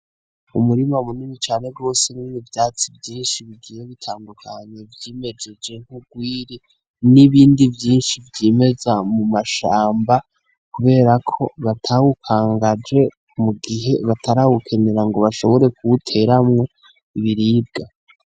Umurima munini cane rwose urimwo ivyatsi vyinshi bigiye bitandukanye, vyimejeje nk'urwiri, n'ibindi vyinshi vyimeza mu mashamba kubera ko batabukangaje mugihe batarabukenera ngo bashobore kubuteramwo ibiribwa.